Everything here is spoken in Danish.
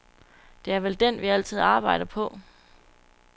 Det er vel den, vi altid arbejder på.